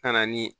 Ka na ni